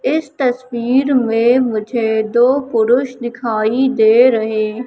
इस तस्वीर में मुझे दो पुरुष दिखाई दे रहे--